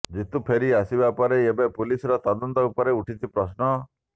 ଜିତୁ ଫେରି ଆସିବା ପରେ ଏବେ ପୁଲିସର ତଦନ୍ତ ଉପରେ ଉଠିଛି ପ୍ରଶ୍ନ